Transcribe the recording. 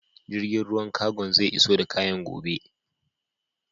Jirgin ruwan cargon zai iso da kayana gobe.